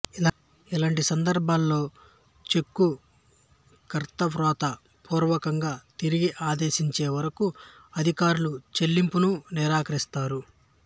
ఇలాంటి సందర్భాలలో చెక్కు కర్త వ్రాత పూర్వకంగా తిరిగి ఆదేశించే వరకు అధికారులు చెల్లింపును నిరాకరిస్తారు